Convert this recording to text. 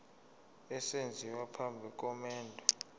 esenziwa phambi komendo